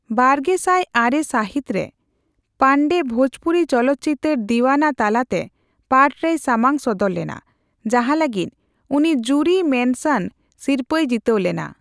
ᱵᱟᱨᱜᱮᱥᱟᱭ ᱟᱨᱮ ᱥᱟᱹᱦᱤᱛ ᱨᱮ, ᱯᱟᱱᱰᱮ ᱵᱷᱳᱡᱽᱯᱩᱨᱤ ᱪᱚᱞᱚᱛᱪᱤᱛᱟᱹᱨ ᱫᱤᱣᱟᱱᱟ ᱛᱟᱞᱟᱛᱮ ᱯᱟᱴᱷᱨᱮᱭ ᱥᱟᱢᱟᱝ ᱥᱚᱫᱚᱨ ᱞᱮᱱᱟ, ᱡᱟᱦᱟᱸ ᱞᱟᱹᱜᱤᱫ ᱩᱱᱤ ᱡᱩᱨᱤ ᱢᱮᱱᱥᱟᱱ ᱥᱤᱨᱯᱟᱹᱭ ᱡᱤᱛᱟᱹᱣ ᱞᱮᱱᱟ ᱾